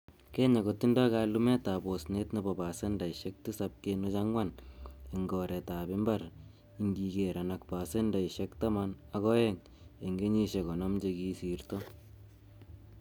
Kenya kotindoi kalumetab osnet nebo pasendeisek tisap kenuch angwan en koretab imbar ingigeran ak pasendeisiek taman ak oeng en kenyisiek konoom chekisirto.